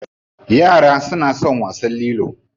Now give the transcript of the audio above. Yara suna son wasan lilo.